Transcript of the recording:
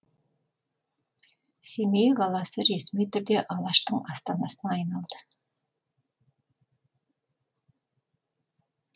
семей қаласы ресми түрде алаштың астанасына айналды